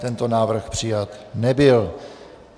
Tento návrh přijat nebyl.